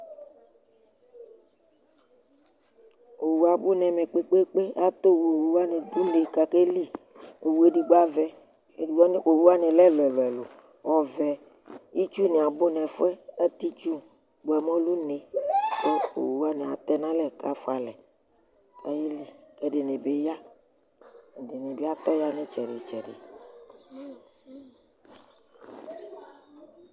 Owu abʋ nɛmɛ kpekpeekpe : atɔ owu, owu wanɩ dʋ une kakeliowu edigbo avɛ, owu wanɩ lɛ ɛlʋɛlʋ, ɔvɛ ,itsu nɩ abʋ n 'ɛfʋɛ ,atɛ itsu bʋa mɛ ɔdʋ uneOwu wanɩ atɛnalɛ kafʋalɛ kayeli,k ' ɛdɩnɩ bɩ ya, ɛdɩnɩ bɩ atɔ ya n' ɩtsɛdɩ–tsɛdɩ